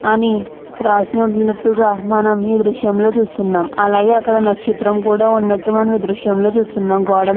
అని రాసినట్టుగా మనం మీ దృశ్యంలో చూస్తున్నాం. అలాగే అక్కడ నక్షత్రం కూడా ఉన్నట్టు మనం దృశ్యంలో చూస్తున్నాం. గోడలు --